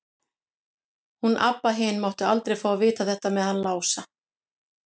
Hún Abba hin mátti aldrei fá að vita þetta með hann Lása.